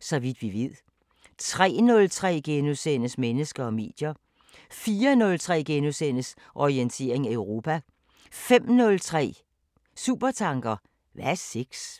Så vidt vi ved * 03:03: Mennesker og medier * 04:03: Orientering Europa * 05:03: Supertanker: Hvad er sex?